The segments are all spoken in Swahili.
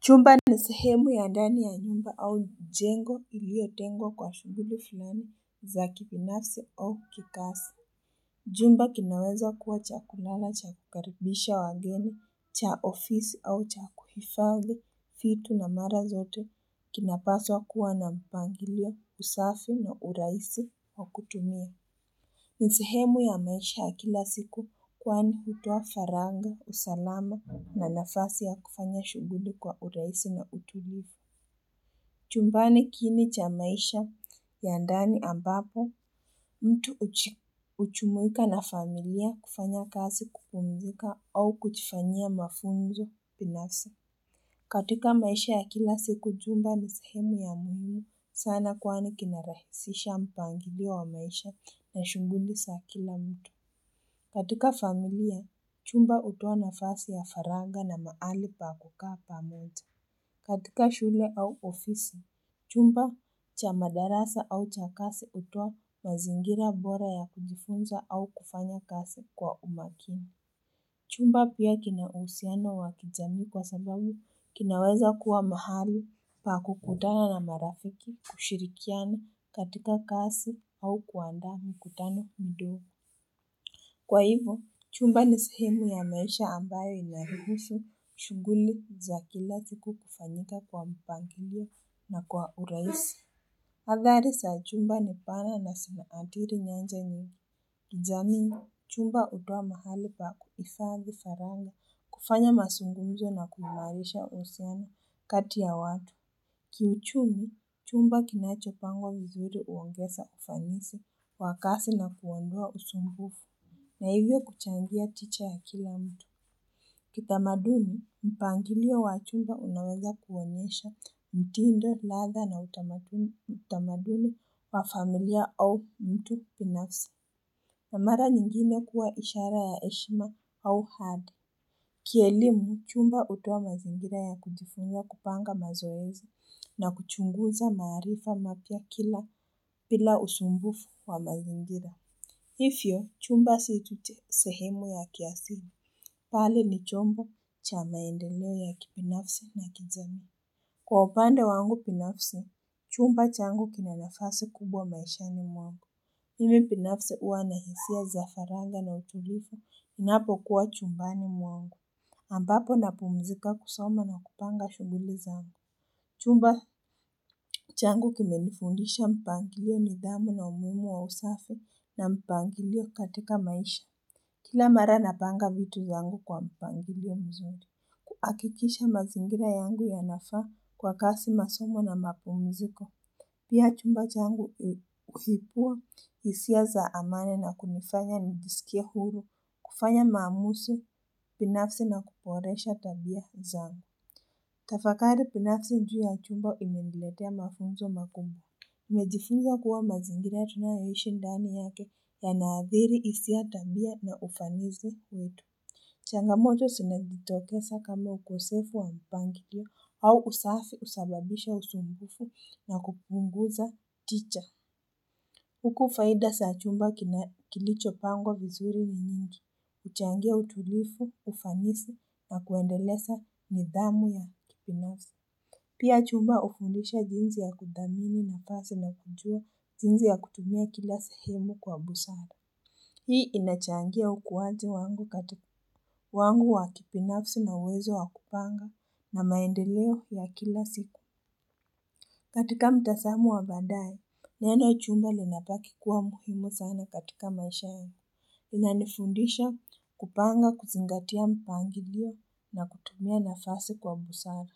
Chumba ni sehemu ya ndani ya nyumba au jengo iliotengwa kwa shughuli fulani za kibinafsi au kikazi. Jumba kinaweza kuwa cha kulala, cha kukaribisha wageni, cha ofisi au cha kuhifadhi vitu na mara zote kinapaswa kuwa na mpangilio, usafi na urahisi wa kutumia. Ni sehemu ya maisha ya kila siku kwani hutoa faragha, usalama na nafasi ya kufanya shughuli kwa urahisi na utulivu. Chumbani kini cha maisha ya ndani ambapo mtu hujumuika na familia kufanya kazi kupumzika au kujifanyia mafunzo binafsi. Katika maisha ya kila siku jumba ni sehemu ya muhimu sana kwani kina rahisisha mpangilio wa maisha na shughuli za kila mtu. Katika familia chumba hutoa nafasi ya faragha na mahali pa kukaa pamoja. Katika shule au ofisi, chumba cha madarasa au cha kazi hutoa mazingira bora ya kujifunza au kufanya kazi kwa umakini. Chumba pia kina uhusiano wa kijamii kwa sababu kinaweza kuwa mahali pa kukutana na marafiki, kushirikiana katika kazi au kuandaa mkutano mdogo. Kwa hivyo, chumba ni sehemu ya maisha ambayo inahiruhusu shughuli za kila siku kufanyika kwa mpangilio na kwa urahisi. Athari za jumba ni pale na zinaathiri nyanja nyingi, kijamii. Chumba hutoa mahali pa kuhifadhi faragha, kufanya mazungunzo na kuimarisha uhusiano kati ya watu. Kiuchumi, chumba kinachopanga vizuri huongeza ufanisi wa kazi na kuondoa usumbufu. Na hivyo kuchangia tija ya kila mtu. Kitamaduni, mpangilio wa jumba unaweza kuonyesha mtindo, ladha na utamaduni wa familia au mtu binafsi. Na mara nyingine kuwa ishara ya heshima au hadi. Kielimu, chumba hutoa mazingira ya kujifunza kupanga mazoezi na kuchunguza maarifa mapya kila bila usumbufu wa mazingira. Hivyo, chumba si tu sehemu ya kiasili. Bali ni chombo cha maendeleo ya kibinafsi na kijamii. Kwa upande wangu binafsi, chumba changu kina nafasi kubwa maishani mwangu. Mimi binafsi huwa na hisia za faragha na utulivu ninapokuwa chumbani mwangu. Ambapo napumzika kusoma na kupanga shughuli zangu. Chumba changu kimenifundisha mpangilio, nidhamu na umuhimu wa usafi na mpangilio katika maisha. Kila mara napanga vitu zangu kwa mpangilio mzuri, kuhakikisha mazingira yangu yanafaa kwa kazi, masomo na mapumziko. Pia chumba changu huibua hisia za amani na kunifanya nijisikie huru kufanya maamuzi binafsi na kuboresha tabia zangu. Tafakari binafsi juu ya chumba imeniletea mafunzo makubwa. Nimejifunza kuwa mazingina tunayoishi ndani yake yanaathiri hisia tabia na ufanisi wetu. Changamoto zinajitoteza kama ukosefu wa mpangilio au usafi husababisha usumbufu na kupunguza tija. Huku faida za chumba kilichopangwa vizuri ni nyingi. Huchangia utulivu, ufanisi na kuendeleza nidhamu ya kibinafsi. Pia chumba hufundisha jinsi ya kudhamini nafasi na kujua jinsi ya kutumia kila sehemu kwa busara. Hii inachangia ukuwaji wangu katika, wangu wa kibinafsi na uwezo wa kupanga na maendeleo ya kila siku. Katika mtazamo wa baadaye, neno chumba linabaki kuwa muhimu sana katika maisha yangu. Inanifundisha kupanga, kuzingatia mpangilio na kutumia nafasi kwa busara.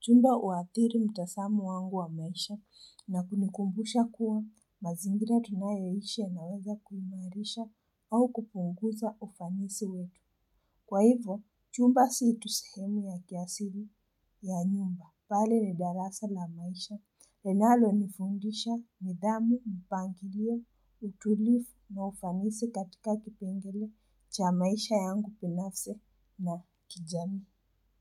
Chumba huathiri mtazamo wangu wa maisha na kunikumbusha kuwa mazingira tunayoishi yanaweza kuimarisha au kupunguza ufanisi wetu. Kwa hivyo, chumba si tu sehemu ya kiasili ya nyumba. Bali ni darasa la maisha, linalonifundisha nidhamu, mpangilio, utulivu na ufanisi katika kipengele cha maisha yangu binafsi na kijamii.